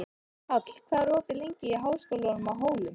Páll, hvað er opið lengi í Háskólanum á Hólum?